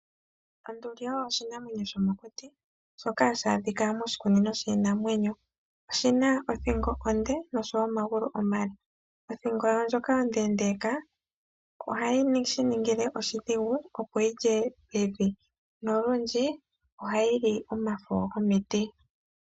Onduli oyo oshinamwenyo shomokuti shoka hashi adhikwa moshi kunino shinamwenyo. Oshina othingo onde noshowo omagulu omale, othingo yawo ndjoka ondendeka ohayi shiningile oshidhigu opo yilye evi nolundji ohayi li omafo gomiti.